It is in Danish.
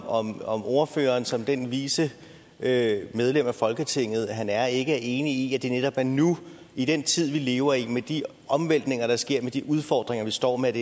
om om ordføreren som det vise medlem af folketinget han er ikke er enig i at det netop er nu i den tid vi lever i med de omvæltninger der sker med de udfordringer vi står med